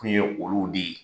Kun ye olu de ye